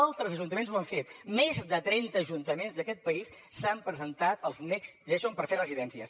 altres ajuntaments ho han fet més de trenta ajuntaments d’aquest país s’han presentat als next generation per fer residències